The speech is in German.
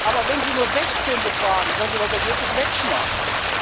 Aber wenn Sie nur 16 befragen, können Sie das Ergebnis wegschmeißen.